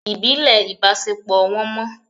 Ibile ibasepo won mọ